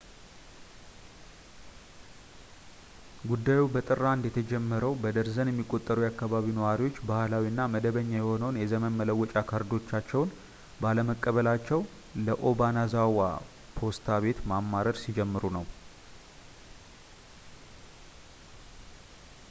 ጉዳዩ በጥር 1 የተጀመረው በደርዘን የሚቆጠሩ የአከባቢው ነዋሪዎች ባህላዊ እና መደበኛ የሆነውን የዘመን መለወጫ ካርዶቻቸውን ባለመቀበላቸው ለobanazawa ፖስታ ቤት ማማረር ሲጀምሩ ነው